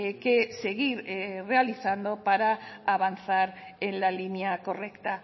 que seguir realizando para avanzar en la línea correcta